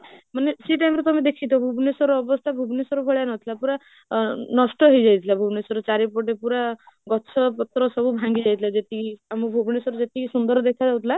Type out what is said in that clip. ମାନେ ସେଇ time ରେ ତମେ ଦେଖିଥିବ ଭୁବନେଶ୍ବରର ଅବସ୍ଥା ଭୁବନେଶ୍ବର ଭଲିଆ ନଥିଲା, ପୁରା ଅ ନଷ୍ଟ ହେଇଯାଇଥିଲା ଭୁବନେଶ୍ବର ଚାରିପଟୁ ପୁରା ଗଛ ପତ୍ର ସବୁ ଭାଙ୍ଗି ଯାଇଥିଲା ଯେତିକି, ଆମ ଭୁବନେଶ୍ବର ଯେତିକି ସୁନ୍ଦର ଗଛ ଯାଉଥିଲା